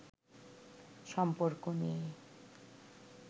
সম্পর্ক নিয়ে